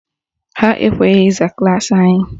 Ha ekweghị ịza klaasị anyị